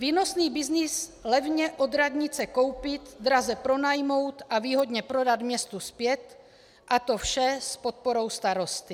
Výnosný byznys - levně od radnice koupit, draze pronajmout a výhodně prodat městu zpět, a to vše s podporou starosty.